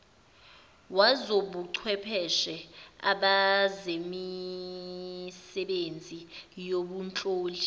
wezobuchwepheshe abazemisebenzi yobunhloli